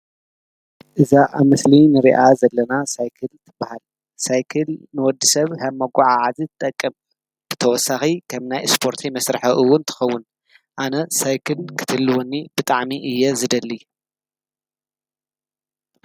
እዛ ኣብ ምስሊ እንርእያ ዘለና ሳይክል ትብሃል :ሳይክል ንወዲሰብ ከም መጓዓዓዚ ትጠቅም ፤ብተወሳኪ ከም ናይ ስፖርቲ መስርሒ ዉን ትከዉን። ኣነ ሳይክል ክትህልወኒ ብጣዕሚ እየ ዝደሊ።